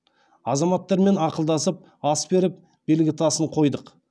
азаматтармен ақылдасып ас беріп белгітасын қойдық